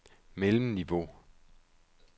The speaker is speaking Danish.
mellemniveau